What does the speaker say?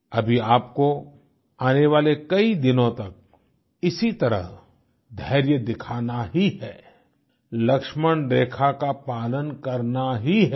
अभी आपको आने वाले कई दिनों तक इसी तरह धैर्य दिखाना ही है लक्ष्मणरेखा का पालन करना ही है